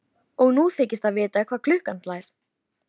Hún er stíf á því að þetta sé strákur.